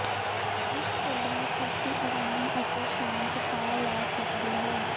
ਉਸ ਤੋਂ ਬਾਅਦ ਤੁਸੀਂ ਆਰਾਮ ਅਤੇ ਸ਼ਾਂਤ ਸਾਹ ਲੈ ਸਕਦੇ ਹੋ